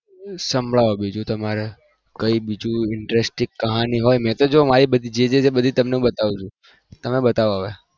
સાંભળવો બીજું તમે કોઈ interest કહાની હોય મે તો જો મારી બધી કઈ દીધી